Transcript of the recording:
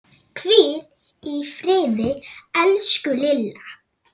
Hvíl í friði, elsku Lilla.